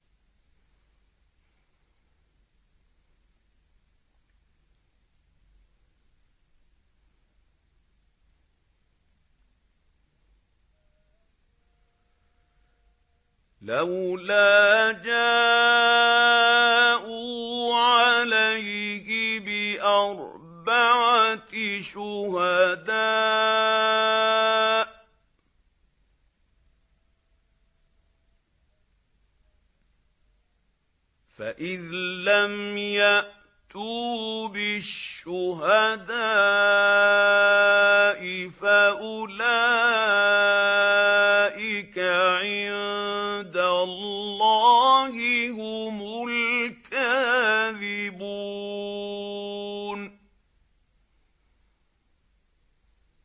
لَّوْلَا جَاءُوا عَلَيْهِ بِأَرْبَعَةِ شُهَدَاءَ ۚ فَإِذْ لَمْ يَأْتُوا بِالشُّهَدَاءِ فَأُولَٰئِكَ عِندَ اللَّهِ هُمُ الْكَاذِبُونَ